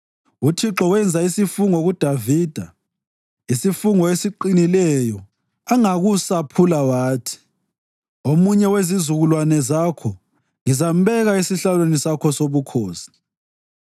UThixo wenza isifungo kuDavida, isifungo esiqinileyo angakusaphula wathi: “Omunye wezizukulwane zakho ngizambeka esihlalweni sakho sobukhosi